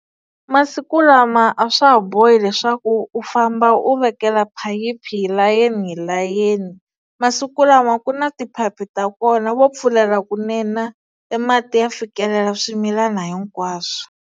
Masiku lama a swa ha bohi leswaku u famba u vekela phayiphi hi layeni hi layeni masiku lama ku na tiphayiphi ta kona vo pfulela kunene e mati ya fikelela swimilana hinkwaswo.